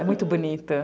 É muito bonito.